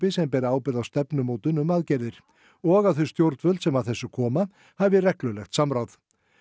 sem beri ábyrgð á stefnumótun um aðgerðir og að þau stjórnvöld sem að þessu koma hafi reglulegt samráð